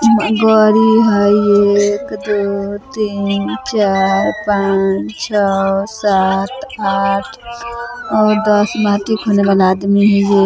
इहाँ गाड़ी हई एक दो तीन चार पांच छ: सात आठ नोव दस बाकी खौने खौने आदमी हई।